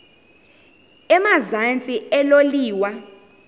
emazantsi elo liwa